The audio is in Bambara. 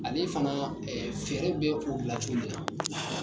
Ale fana ya, ee feere bɛ o bila cogo min na